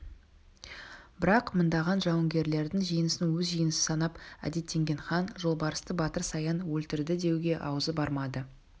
бірақ мыңдаған жауынгерлердің жеңісін өз жеңісі санап әдеттенген хан жолбарысты батыр саян өлтірдідеуге аузы бармады